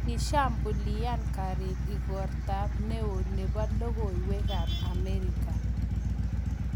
Kishambulian garit ikortab ne o nebo lokoywekab Amerika.